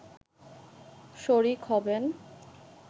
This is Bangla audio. শরিক হবেন